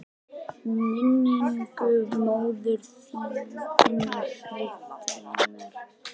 Minningu móður þinnar heitinnar?